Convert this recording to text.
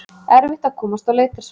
Erfitt að komast á leitarsvæði